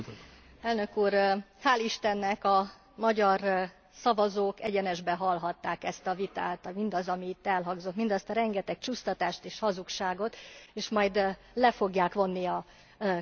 Hál' istennek a magyar szavazók egyenesben hallhatták ezt a vitát, mindazt, ami itt elhangzott, mindazt a rengeteg csúsztatást és hazugságot, és majd le fogják vonni a következtetéseket.